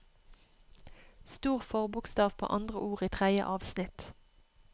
Stor forbokstav på andre ord i tredje avsnitt